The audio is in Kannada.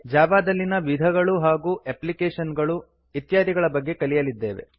ಜಾವಾ ದಲ್ಲಿನ ವಿಧಗಳು ಹಾಗೂ ಎಪ್ಲಿಕೇಶನ್ ಗಳು ಇತ್ಯಾದಿಗಳ ಬಗ್ಗೆ ಕಲಿಯಲಿದ್ದೇವೆ